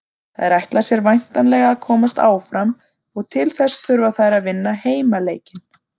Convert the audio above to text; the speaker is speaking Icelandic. Þær ætla sér væntanlega að komast áfram og til þess þurfa þær að vinna heimaleikinn.